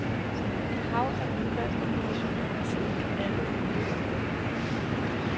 Et hav af udvalg og kommissioner har siddet på alle mulige områder.